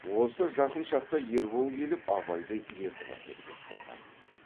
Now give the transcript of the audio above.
осы жақын шақта ербол келіп абайды ертіп әкетпек болған